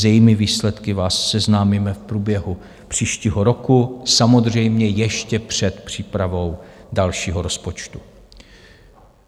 S jejími výsledky vás seznámíme v průběhu příštího roku, samozřejmě ještě před přípravou dalšího rozpočtu.